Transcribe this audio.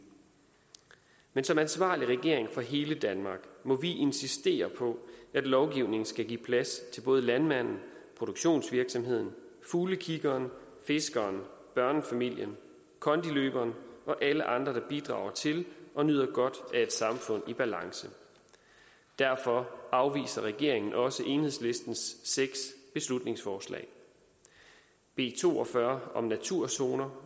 men som ansvarlig regering for hele danmark må vi insistere på at lovgivningen skal give plads til både landmanden produktionsvirksomheden fuglekiggeren fiskeren børnefamilien kondiløberen og alle andre der bidrager til og nyder godt af et samfund i balance derfor afviser regeringen også enhedslistens seks beslutningsforslag b to og fyrre om naturzoner